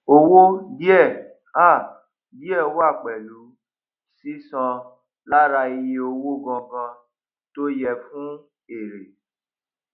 owo díẹ um díẹ wà pẹlú sísan lára iye owó gangan tó yẹ fún èrè